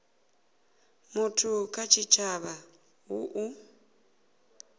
muthu kha tshitshavha hu u